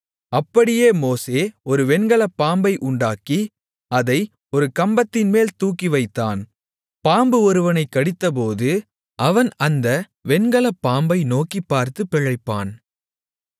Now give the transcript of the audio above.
அப்படியே மோசே ஒரு வெண்கலப் பாம்பை உண்டாக்கி அதை ஒரு கம்பத்தின்மேல் தூக்கிவைத்தான் பாம்பு ஒருவனைக் கடித்தபோது அவன் அந்த வெண்கலப் பாம்பை நோக்கிப்பார்த்துப் பிழைப்பான்